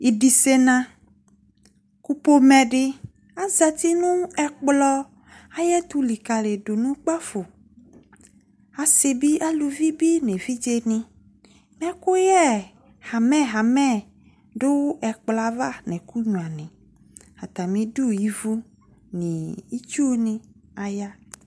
idisena laku pomedi azati nu ekplon ayetu likalidu nukpafo asibi aluvibi ne vidjeni ekuye eluelue du ekploa va atamidu ivu itsu ni aya